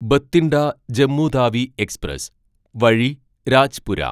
Bathinda Jammu Tawi express വഴി രാജ്പുര